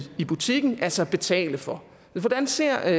i butikken altså betale for men hvordan ser